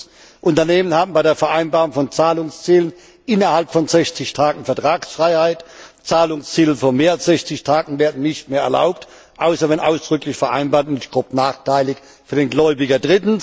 Zweitens, Unternehmen haben bei der Vereinbarung von Zahlungszielen innerhalb von 60 Tagen Vertragsfreiheit, Zahlungsziele von mehr als 60 Tagen werden nicht mehr erlaubt, außer wenn ausdrücklich vereinbart und nicht grob nachteilig für den Gläubiger.